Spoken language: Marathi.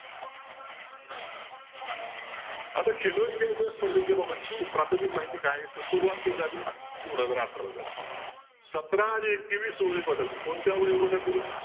आता india च्या स्पर्धेबाबतची प्राथमिक माहिती काय आहे तर सुरवात कधी झाली दोन हजार अठाराला झाली सतरा आणि एकवीस वयोगटातील कोणत्या वयोगटातील